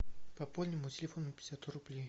пополни мой телефон на пятьдесят рублей